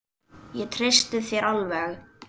Ég treysti þér alveg!